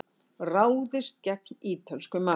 Ráðist gegn ítölsku mafíunni